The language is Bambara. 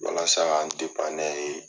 Walasa ka n de.